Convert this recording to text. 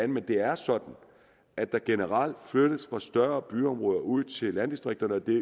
men det er sådan at der generelt flyttes fra større byområder ud til landdistrikterne og det